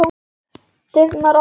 Dyrnar opnast.